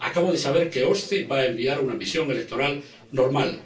Acabo de saber que la OSCE va a enviar una misión electoral normal.